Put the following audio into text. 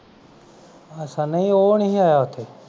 ਅਛਾ ਨਹੀਂ ਉਹ ਨਹੀਂ ਆਇਆ ਓਥੇ